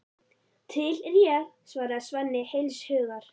Til er ég, svarar Svenni heils hugar.